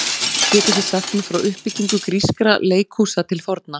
Getið þið sagt mér frá uppbyggingu grískra leikhúsa til forna?